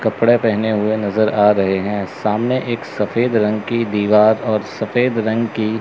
कपड़े पहने हुए नजर आ रहे हैं सामने एक सफेद रंग की दीवार और सफेद रंग की--